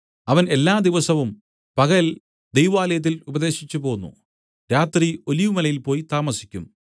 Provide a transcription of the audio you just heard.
അവൻ എല്ലാ ദിവസവും പകൽ ദൈവാലയത്തിൽ ഉപദേശിച്ചുപോന്നു രാത്രി ഒലിവുമലയിൽ പോയി താമസിക്കും